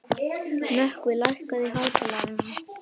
Nökkvi, lækkaðu í hátalaranum.